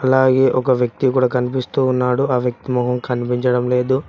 అలాగే ఒక వ్యక్తి కూడా కనిపిస్తూ ఉన్నాడు ఆ వ్యక్తి మొహం కనిపించడం లేదు.